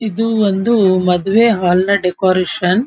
ಇದು ಒಂದು ಮದ್ವೆ ಹಾಲ ನ ಡೆಕೋರೇಷನ್ .